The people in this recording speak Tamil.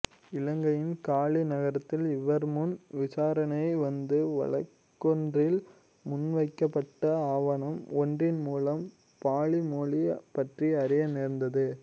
இலங்கையின் காலி நகரத்தில் இவர்முன் விசாரணைக்கு வந்த வழக்கொன்றில் முன்வைக்கப்பட்ட ஆவணம் ஒன்றின்மூலம் பாளி மொழி பற்றி அறிய நேர்ந்தது